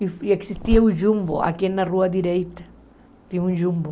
E existia o jumbo aqui na rua direita, tinha um jumbo.